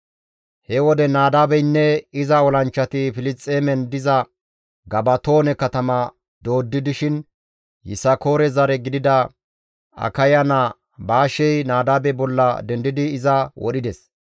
He wode Nadaabeynne iza olanchchati Filisxeemen diza Gabatoone katama dooddi dishin Yisakoore zare gidida Akaya naa Baashey Nadaabe bolla dendidi iza wodhides.